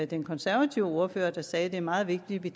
den konservative ordfører der sagde at det er meget vigtigt vi